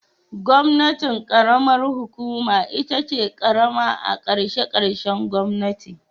Gwamnatin karamar hukuma itace karama a kashe kashen gwamnati